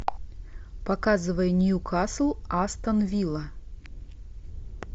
показывай ньюкасл астон вилла